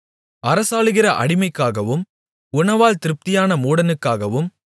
அரசாளுகிற அடிமைக்காகவும் உணவால் திருப்தியான மூடனுக்காகவும்